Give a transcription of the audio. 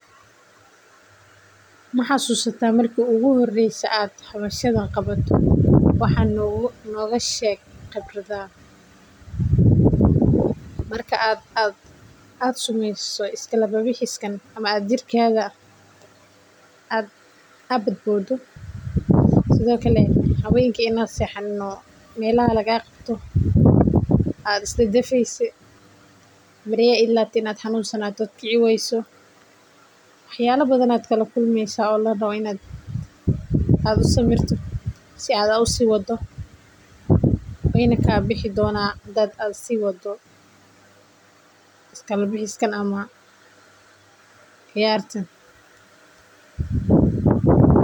Ma xasuusta marki iigu horeyse aan qabto wax nooga sheeg khibradaada marki aad sameyso is kala bixis kam ama aad boodo habeenka inaad xanusato wax yaaba badan ayaa kala kulmeysa wayna kaa bixi doonan hadaad sii wado.